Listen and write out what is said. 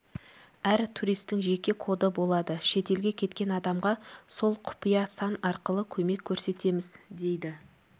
әр туристің жеке коды болады шетелге кеткен адамға сол құпия сан арқылы көмек көрсетеміз дейді